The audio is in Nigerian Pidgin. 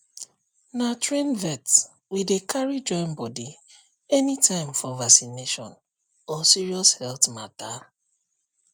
na trained vet we dey carry join body anytime for vaccination or serious health matter